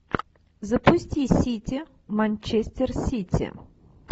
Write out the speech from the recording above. запусти сити манчестер сити